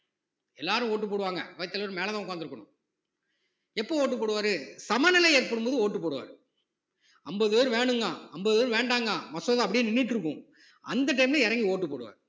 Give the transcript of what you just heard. எல்லாரும் vote டு போடுவாங்க அவைத்தலைவர் மேல தான் உட்கார்ந்து இருக்கணும் எப்ப vote உ போடுவாரு சமநிலை ஏற்படும் போது vote டு போடுவாரு ஐம்பது பேரு வேணுங்கிறான் ஐம்பது பேரு வேண்டாங்க மசோதா அப்படியே நின்னுட்டு இருக்கும் அந்த time ல இறங்கி ஓட்டு போடுவாறு